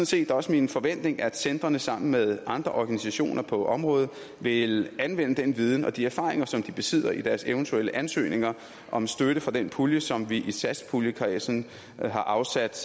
set også min forventning at centrene sammen med andre organisationer på området vil anvende den viden og de erfaringer som de besidder i deres eventuelle ansøgninger om støtte fra den pulje som vi i satspuljekredsen har afsat